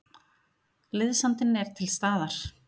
Liðsandinn er til staðar.